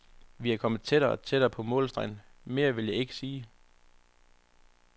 Vi er kommet tættere og tættere på målstregen, mere vil jeg ikke sige.